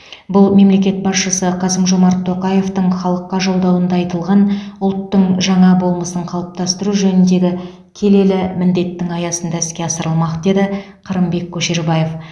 бұл мемлекет басшысы қасым жомарт тоқаевтың халыққа жолдауында айтылған ұлттың жаңа болмысын қалыптастыру жөніндегі келелі міндеттің аясында іске асырылмақ деді қырымбек көшербаев